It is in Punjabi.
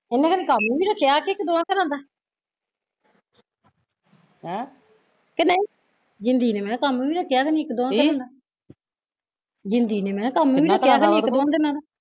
ਇਹਨੇ ਖਰਾ ਕੰਮ ਵੀ ਰੱਖਿਆ ਕਿ ਇੱਕ ਦੋ ਘਰਾ ਦਾ ਕੀ ਨਹੀਂ, ਜਿੰਦੀ ਨੇ ਕੰਮ ਵੀ ਰੱਖਿਆ ਖਰੇ ਇੱਕ ਦੋ ਘਰਾਂ ਦਾ ਜਿੰਦੀ ਨੇ ਮੈਂ ਕਿਹਾਂ ਕੰਮ ਵੀ ਰੱਖਿਆ ਖਣੀ ਇੱਕ ਦੋ ਦਿਨ ਦਾ